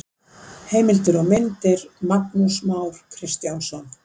Heimildir og myndir: Magnús Már Kristjánsson.